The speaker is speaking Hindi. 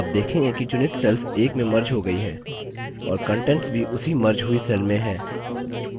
आप देखेंगे कि चुनित cells एक में merged हो गई है और contents भी उसी merged हुई cells में हैं